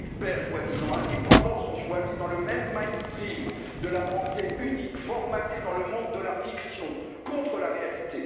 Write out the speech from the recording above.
Nos experts, soi disant indépendants, sont choisis dans le même mainstream de la pensée unique formatée dans le monde de la fiction contre la réalité.